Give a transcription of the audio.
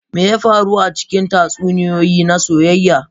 Me ya faru a cikin tatsuniyoyi na soyayya?